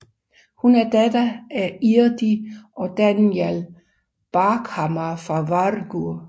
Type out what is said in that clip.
Hun er datter af Irdi og Danjal Bjarkhamar fra Vágur